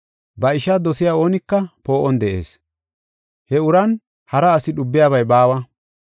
Ba ishaa dosiya oonika poo7on de7ees. He uran hara asi dhubiyabay baawa.